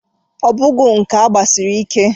Obogwu nke a gbasiri ike!